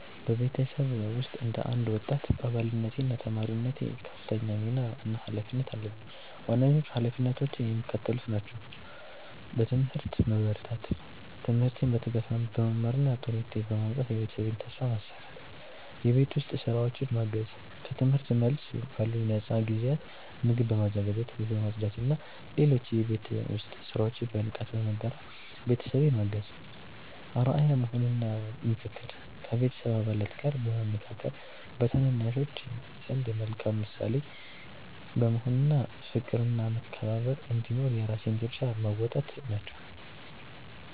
በቤተሰቤ ውስጥ እንደ አንድ ወጣት አባልነቴና ተማሪነቴ ከፍተኛ ሚና እና ኃላፊነት አለብኝ። ዋነኞቹ ኃላፊነቶቼ የሚከተሉት ናቸው፦ በትምህርት መበርታት፦ ትምህርቴን በትጋት በመማርና ጥሩ ውጤት በማምጣት የቤተሰቤን ተስፋ ማሳካት። የቤት ውስጥ ሥራዎችን ማገዝ፦ ከትምህርት መልስ ባሉኝ ነፃ ጊዜያት ምግብ በማዘጋጀት፣ ቤት በማጽዳትና ሌሎች የቤት ውስጥ ሥራዎችን በንቃት በመጋራት ቤተሰቤን ማገዝ። አርአያ መሆን እና ምክክር፦ ከቤተሰብ አባላት ጋር በመመካከር፣ በታናናሾች ዘንድ መልካም ምሳሌ በመሆን እና ፍቅርና መከባበር እንዲኖር የራሴን ድርሻ መወጣት ናቸው።